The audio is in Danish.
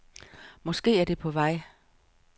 Måske er det på vej.